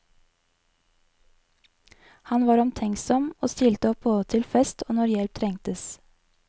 Han var omtenksom, og stilte opp både til fest og når hjelp trengtes.